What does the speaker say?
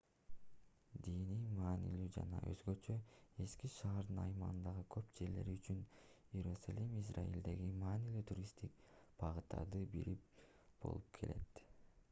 диний маанилүүлүгү жана өзгөчө эски шаардын аймагындагы көп жерлери үчүн иерусалим израилдеги маанилүү туристтик багыттардын бири болуп келет